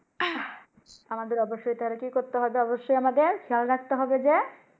আমাদের অবশ্যই তারে কি করতে হবে অবশ্যই আমাদের খেয়াল রাখতে হবে যে।